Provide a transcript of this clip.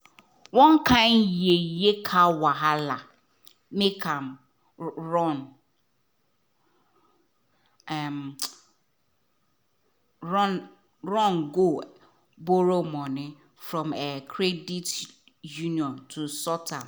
one kind yeye car wahala make am run am run um run go borrow money from um credit union to sort am.